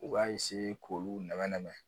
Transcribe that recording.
U ka k'olu nɛmɛn nɛmɛn.